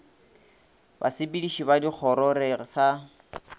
basepediši ba dikgoro re sa